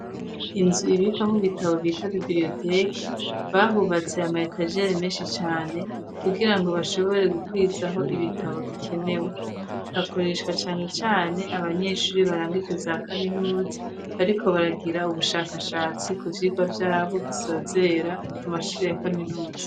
Inzu ibikwamwo bitabo bita bibriyoteki, bahubatse ama etajeri menshi cane kugira ngo bashobore gukwizaho ibitabo bikenewe, hakoreshwa cane abanyeshuri barangije za kaminuza bariko baragira ubushakashatsi ku vyigwa vyabo bisozera amashure ya kaminuza.